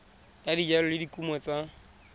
ya dijalo le dikumo tsa